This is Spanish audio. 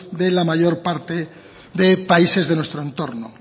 de la mayor parte de países de nuestro entorno